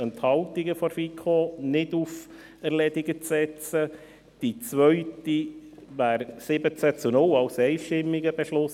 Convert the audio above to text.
Die erste überweist die FiKo mit 15 zu 0 Stimmen bei 2 Enthaltungen, und die zweite mit 17 zu 0 Stimmen, also mit einem einstimmigen Beschluss.